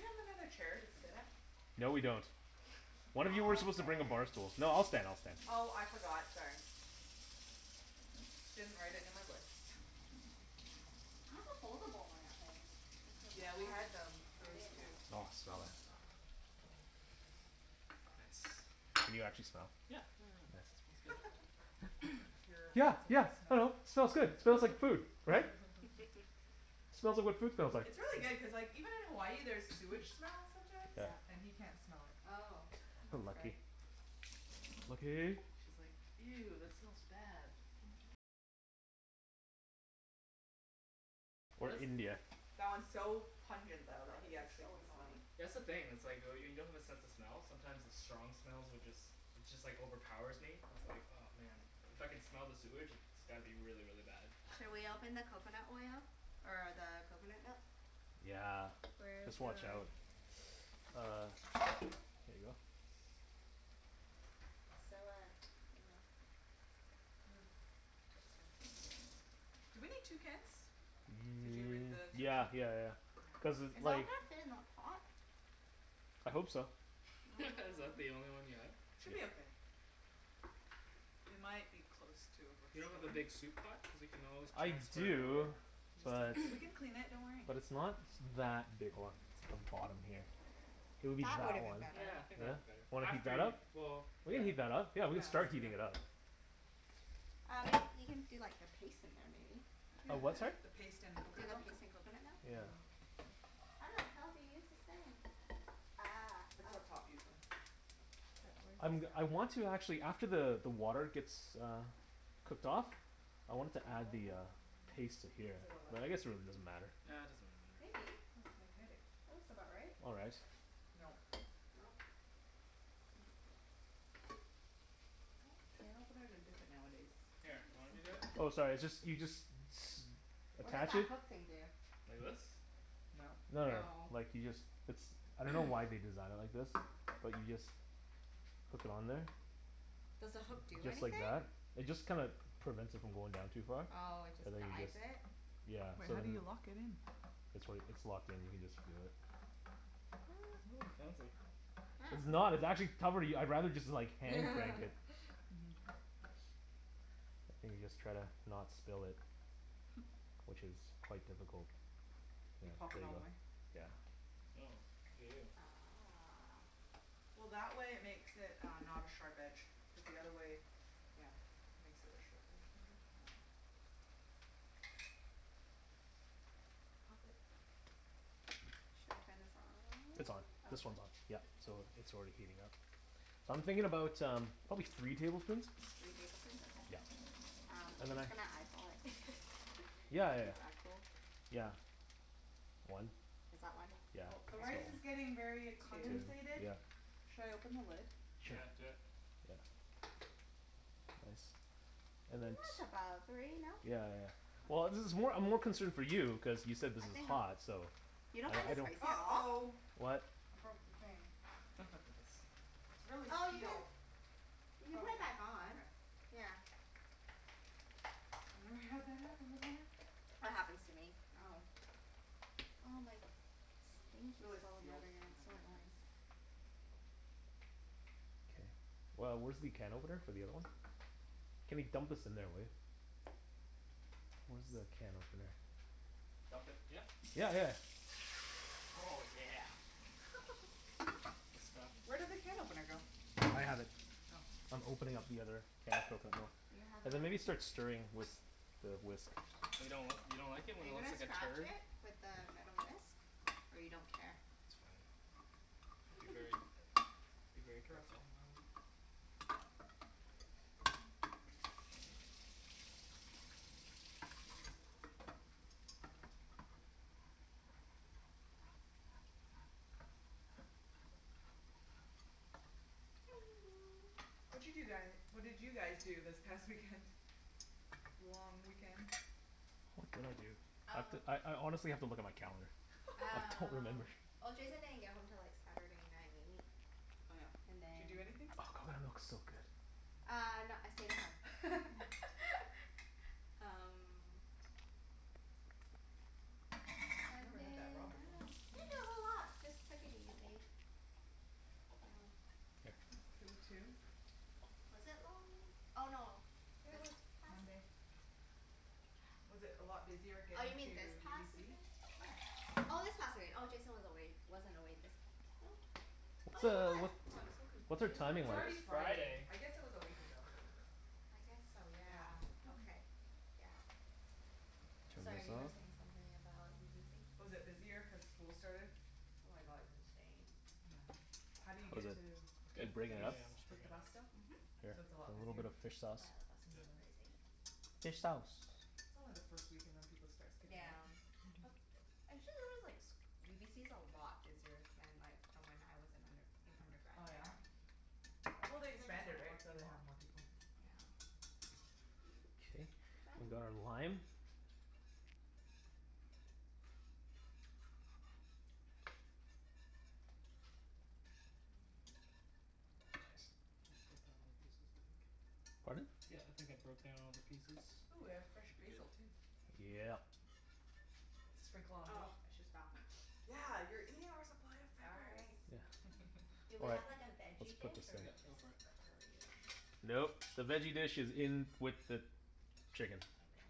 have another chair to sit at? No, we don't. One of you were I'll supposed to bring a bar stand. stool. No, I'll stand. I'll stand. Oh, I forgot. Sorry. Didn't write it in my list. I have a foldable one at home. I could Yeah, have we had brought that. them, I those didn't too. know. Oh, smell that. Nice. Can you actually smell? Yeah. Yeah, yeah, yeah, it Nice. smells good. Your Yeah, bad sense yeah. of I smell. know. Smells good. Smells like food, right? Smells like what food smells like. It's really good cuz like, even in Hawaii there's sewage smell sometimes, Yeah. Yeah. and he can't smell it. Oh. I know. That's okay. Lucky. Lucky. She's like, "Ew, that smells bad." Or India. That one's so Oh pungent though that god, he this is actually so can smell annoying. it. That's the thing, it's like oh y- when you don't have a sense of smell sometimes the strong smells would just it just like overpowers me. It's like, oh man. If I can smell the sewage it's gotta be really, really bad. Shall we Mhm. open the coconut oil? Or the coconut milk? Yeah. Where's Just your watch out. Uh there you go. It's so uh, you know Hmm. Looks fancy. Do we need two cans? Did you read N- the yeah instructions? yeah yeah yeah. Okay. Cuz Is it all like gonna fit in that pot? I hope so. Is that the Mm. only one you have? Should be Yep. okay. We might be close to You don't have a overspilling. big soup pot? Cuz we can always I transfer it over. do, He just but doesn't, we can clean it. Don't worry. but it's not that big, hold on, it's on the bottom here. It'll be That would've that been one. better. Yeah, I think that'd Yeah. be better. Wanna heat After that y- up? well, We can yeah. heat that up. Yeah, Yeah, we can let's start do heating it that. up. Um y- you can do like a paste in there, maybe? Yeah. A what, sorry? The paste and Do coconut the milk. paste in coconut milk and Yeah. then How the hell do you use this thing? Ah, It's oh. up top, usually. But where does I'm g- this I go? want to actually, after the the water gets uh cooked off, Hmm. I wanted to Hmm, add the uh no. paste to here. But I guess it really doesn't matter. Yeah, it doesn't really matter. Maybe. Oh, it's magnetic. That looks about right. All right. Nope. Nope. I think it's like Oh, can openers are different nowadays. Where Here, are the you want me to simple do it? ones? Oh sorry, it's just, you just s- What does attach that it hook thing do? Like this? Nope. No no no, No. like you just, it's, I don't know why they designed it like this. But you just hook it on there Does the hook do just like anything? that. It just kinda prevents it from going down too far. Oh, it just And then you guides just it? Yeah. Wait, So how do then you lock it in? It's like, it's locked in. You can just do it. What? Oh, fancy. It's Oh. not. It's actually cover- I'd rather just hand crank it. Mhm. And you just try to not spill it. Which is quite difficult. You Yeah, pop there it you all the go. way? Yeah. Oh. Look at you. Ah. Well, that way it makes it uh not a sharp edge. Cuz the Yeah. other way, yeah, makes it a sharp edge maybe? I dunno. Pop it. Shall we turn this on? It's on. This one's Okay. on. Yeah. So it's already heating up. So I'm thinking about um probably three tablespoons. Three tablespoons? Yeah. Okay. Um, I'm just gonna eyeball it. Yeah yeah Is yeah. that cool? Yeah. One. Is that one? K. Yeah, Oh, the rice that's is a good one. getting very a Two. Two, comensated. yeah. Should I open the lid? Sure. Yeah, do it. Yeah. Nice. And And then that's t- about three, no? Yeah yeah yeah. Well, this is more, I'm more concerned for you cuz you said this I think is I'm hot, so You Yeah, don't find I this don't spicy at all? uh-oh. What? I broke the thing. Nice. It's really Oh, you sealed. can you I can probably put it can, back on. okay. Yeah. I've never had that happen before. That happens to me at Oh. home. Oh my, this thing It's keeps really falling out sealed. again. And I It's have so wet hands. annoying. K. Well, where's the can opener for the other one? Kenny, dump this in there, will ya? Where's the Whoops. can opener? Dump it, yeah? Yeah yeah yeah. Oh yeah. That's the stuff. Where did the can opener go? I have it. Oh. I'm opening up the other can of coconut milk. Do you have a And then maybe start stirring with the whisk. But you don't, you don't like it Are when it you looks gonna like a scratch turd? it with the metal whisk? Or you don't care? It's fine. Be very, be very Girls careful. can Watcha do guy, what did you guys do this past weekend? Long weekend? What did I do? I have to, Oh I I honestly have to look at my calendar. I don't Um, remember. well Jason didn't get home til like Saturday night Oh yeah. and Did you do then Oh, anything? Oh, that coconut milk's looks so so good. good. Uh no, I stayed at home. Um Never had that Sunday raw I before. dunno. Didn't do a whole lot. Just took it easy. Yeah. That's cool too. Was it long wee- oh no, Yeah, it this was. past Monday. Was it a lot busier Oh, you getting to mean this past UBC? weekend? Yeah. Oh, this past wee- oh, Jason was away, wasn't away this, oh Oh What's yeah, he a, was. what, Oh, I'm so what's our confused now. timing It's It already is like? Friday. Friday. I guess it was a week ago. I guess so, yeah. Yeah. Okay. Yeah. Turn Sorry, this you were off. saying something about UBC? Was it busier cuz school started? Oh my god, it's insane. Yeah. How do you Was get it, to, It's did good. it break Yeah, it you st- yeah, up? yeah, I'm just take the breaking it bus up. still? Mhm. Oh Here, So yeah, it's a lot a little busier? bit of fish sauce. the bus On is so Yep. the bus. crazy. Fish sauce. It's only the first week and then people start skipping Yeah. out. But, actually there was like s- UBC's a lot busier than like from when I was in under- an undergrad Oh, yeah? there. Well, they Seems like there's a expanded, lot right? more So they people. have more people. Okay. We've got our lime. Yeah. Nice. I think I broke down all the pieces, I think. Pardon? Yeah, I think I broke down all the pieces. Ooh, we have fresh Should be good. basil, too. Yeah. Sprinkle on Oh, top. I should stop. Yeah, you're eating our supply of peppers. Sorry. Yeah. Do we All right, have like a let's veggie put dish Yep. this in. or Go just for it. curry and Nope, the veggie dish is in with the chicken. Okay.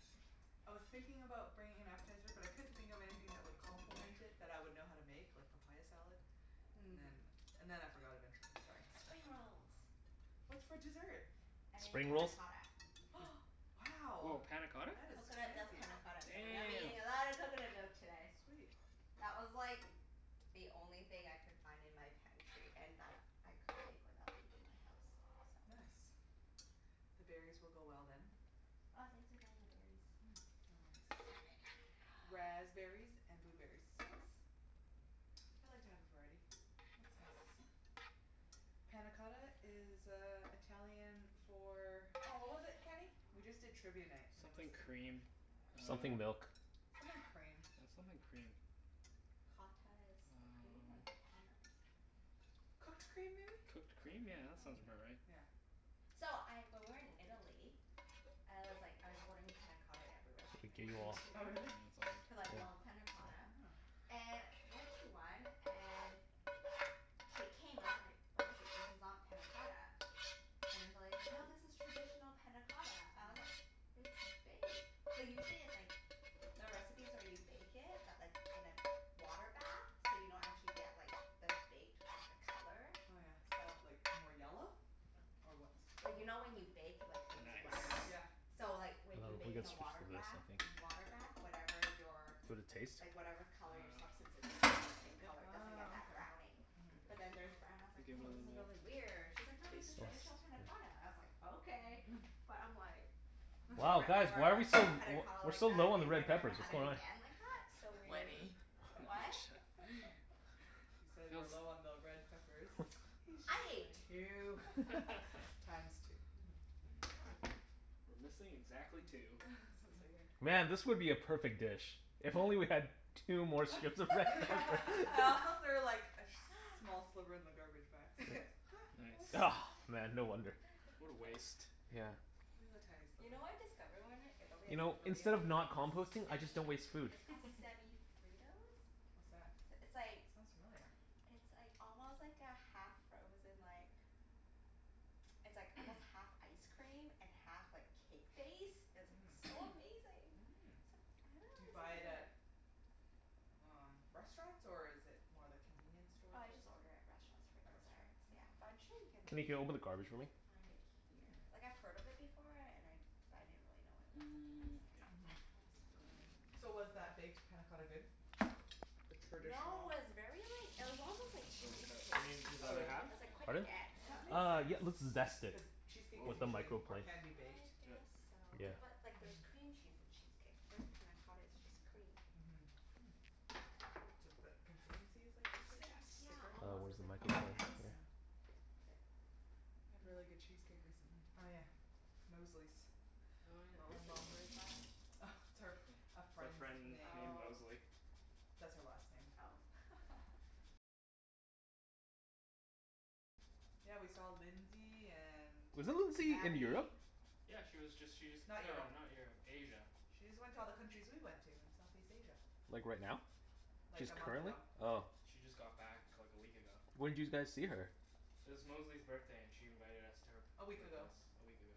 I was thinking about bringing an appetizer, but I couldn't think of anything that would complement it that I would know how to make, like papaya salad. And then Mm. and then I forgot eventually. Sorry. Spring rolls. What's for dessert? I made Spring panna rolls? cotta. Hm. Wow. Woah, panna cotta? That is Coconut milk fancy. panna cotta, so we're gonna be Damn. eating a lot of coconut milk today. Sweet. That was like the only thing I could find in my pantry and that I could make without leaving my house, so Nice. The berries will go well, then. Oh, thanks for bringing the berries. Yeah. No worries. I didn't have any. Ah. Raspberries and blueberries. Nice. I like to have a variety. Looks nice. Panna cotta is uh Italian for Oh, what was it, Kenny? We just did Trivia Night and it was Something a quest- cream uh Something milk. Something cream. Yeah, something cream. Cotta is the cream, or the Um panna is? Cooked cream, maybe? Cooked Cooked cream? Yeah, cream? that Oh. sounds about right. Yeah. So, I, when we Or were in baked. Italy I was like, I was ordering panna cotta at every restaurant we went Oh, to. really? Cuz I love Yeah. panna cotta. And went to one and it came out, I was like, "What is this? This is not panna cotta." And then the lady's like, "No, this is traditional panna cotta." I was like, Mm. "It's baked." Like usually it's like the recipes where you bake it, but like in a water bath. So you don't actually get like the baked, but the color. Oh yeah, So like, more yellow? Or what's the color? Like you know when you bake like things brown? Yeah. Nice. So like w- if Well, you we bake in can a switch water to this, bath I think. Mhm. water bath, whatever your Would it taste? like whatever color your substance Um is it stays the same Yeah. color. It doesn't get Ah, that okay. browning. Mhm. But then theirs brown and I was I'll like, give it "Woah, a this is little really weird." She's like, "No, this is taste test. Smells, traditional panna yeah. cotta." I was like, "Okay." But I'm like Wow, never, guys, why are ever we so l- had panna w- cotta we're like so that, low on the and red never, ever peppers. had What's it going on? again like that. So weird. Wenny. What? He said we're Phil's low on the red peppers. He's just I ate playing. two. Times two. We're missing exactly two. Man, this would be a perfect dish if only we had two more strips of red pepper. I also threw like a sh- small sliver in the garbage by accident. Yep. Nice. Man, no wonder. What a waste. Yeah. It was a tiny You sliver. know what I discovered when we were in Italy You that's like know, really instead of not amazing? composting, I just Semi, don't waste food. it's called Semi Fritos. What's that? S- It's like Sounds familiar. it's like almost like a half-frozen like it's like almost half ice cream and half like cake base. It's like Mmm. so amazing. Mm. Except I haven't Do really you seen buy it it at here. um restaurants, or is it more the convenience store Oh, I type just of order thing? at restaurants for At restaurants? desserts, yeah. But Oh. I'm sure you can Kenny, can you open the garbage for me? find it here. Hmm. Like, I've heard of it before and I but I didn't really know what it was until I was Mm. there. Oh, Mhm. it's so good. So was that baked panna cotta good? The No, traditional it was very like, it was almost like Throw this cheesecake. out. You need this Oh, other really? half? It was like quite Pardon? dense. That makes Uh, sense. yeah let's zest it. Cuz cheesecake is With the Woah. usually, or microblade. can be, baked. I Do it. guess so. Yeah. But like there's Mhm. cream cheese in cheesecake. Whereas panna cotta is just cream. Mhm. Hmm. Ju- th- consistency is like cheesecake then? Yeah, Zest. Thicker? Oh, almost. It where's was the like plain microblade? Here. Yeah. K. We had really good cheesecake recently. Oh yeah, Mosley's. Oh Her yeah. Mosley's? mom. Where's that? Oh, it's her, It's a our friend's friend name. named Oh. Mosley. Oh. Yeah, we saw Lindsay and Wasn't Lindsay in Abby. Europe? Yeah, she was just, she just, Not no, Europe. not Europe. Asia. She just went to all the countries we went to in Southeast Asia. Like right now? Like, She's a month currently? ago. Oh. She just got back like a week ago. When'd you guys see her? It was Mosley's birthday and she invited us to her A p- week her ago. place a week ago.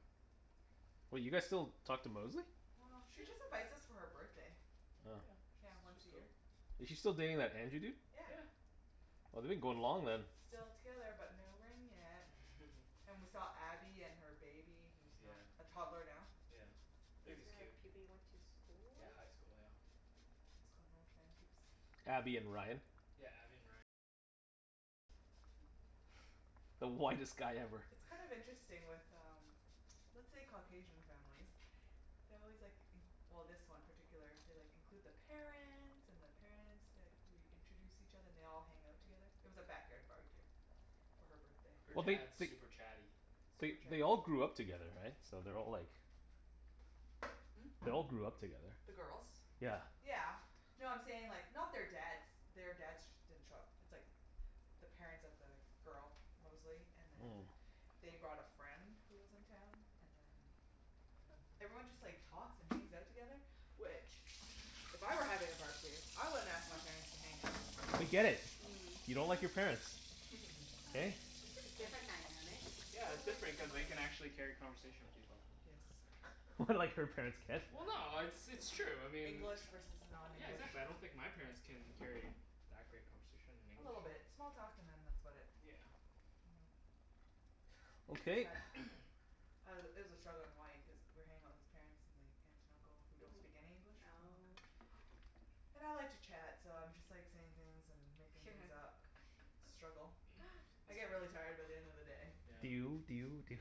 Wait, you guys still talk to Mosley? Well, she just invites us for her birthday. Oh. Yeah, Yeah, she's once a she's year. cool. Is she still dating that Andrew dude? Yeah. Yeah. Well they've been going long then. Still together but no ring yet. And we saw Abby and her baby, who's Yeah. not a toddler now. Yeah. These Baby's are cute. people you went to school Yeah, with? high school. Yeah. High school North Van peeps. Abby and Ryan. The whitest guy ever. It's kind of interesting with um let's say Caucasian families they always like in- well, this one particular, they like, include the parents and the parents, like we introduce each other. And they all hang out together. It was a backyard barbecue. For her birthday. Her Well they dad's they super chatty. they Super chatty they all people. grew up together, right? So they're all like Hmm? They all grew up together. The girls? Yeah. Yeah. No, I'm saying like, not their dads, their dads sh- didn't show up. It's like the parents of the girl, Mosley, and then Mm. they brought a friend who was in town, and then everyone just like talks and hangs out together, which if I were having a barbecue, I wouldn't ask my parents to hang out. We get it. Mm. You don't like your Yeah. parents. Hey? it's just Just different different dynamic. Yeah, it's Totally different cuz different they can dynamic. actually carry a conversation with people. Yes. What, like her parents can't? Well no, it's it's true. I mean English versus Yeah, non-english. exactly. I don't think my parents can carry that great conversation in A English. little bit. Small talk and then that's about it. Yeah. Mhm. It's Okay. sad. I was it was a struggle in Hawaii cuz we were hanging out with his parents and the aunt and uncle, who don't Mhm. speak any English, from Hong Kong Oh. And I like to chat so I'm just like saying things and making things up. Struggle. I It's get fine. really tired by the end of the day. Yeah. Do you do you do you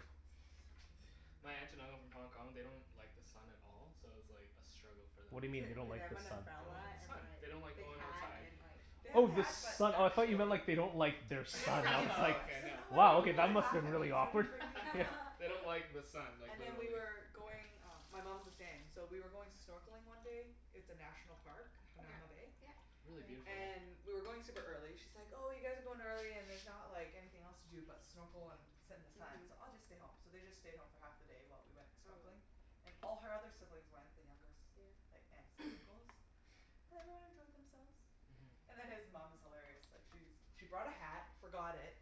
My aunt and uncle from Hong Kong, they don't like the sun at all so it was like a struggle for them What do you being mean in they don't Did they Hawaii. like have the an sun? They don't umbrella like the and sun. like They don't like thick going hat outside. and like They have Oh, the the hat, but sun. I thought you actually meant like they don't like their She didn't son, and bring I the was like umbrella. Okay, She's like, no. "I don't They wow, want okay, don't people to that like must've laugh been at really me, so I awkward. didn't bring the umbrella." they don't like the sun, like And then we literally. were going, uh my mom's the same, so we were going snorkeling one day It's a National Park, Yeah. Hanauma Bay. Yeah. Really Been there. beautiful, yeah. And we were going super early. She's like, "Oh, you guys are going early and there's not like anything else to do but snorkel and sit in the sun, Mhm. so I'll just stay home." So they just stayed home for half the day while we went Probably. snorkeling. And all her other siblings went, the younger Yeah. s- like aunts and uncles. And everyone enjoyed themselves. Mhm. And then his mom is hilarious. Like she's she brought a hat, forgot it